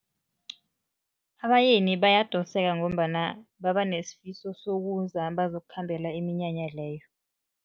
Abayeni bayadoseka ngombana baba nesifiso sokuza, bazokukhambela iminyanya leyo.